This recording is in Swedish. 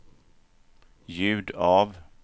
ljud av